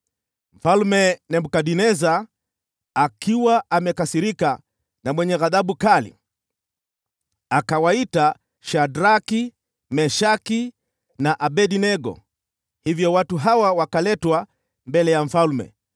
Mfalme Nebukadneza, akiwa amekasirika na mwenye ghadhabu kali, akawaita Shadraki, Meshaki na Abednego. Hivyo watu hawa wakaletwa mbele ya mfalme,